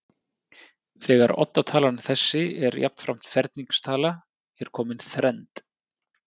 Þegar oddatalan þessi er jafnframt ferningstala er komin þrennd.